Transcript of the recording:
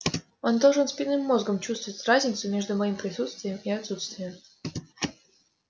он должен спинным мозгом чувствовать разницу между моими присутствием и отсутствием